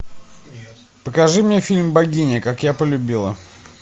покажи мне фильм богиня как я полюбила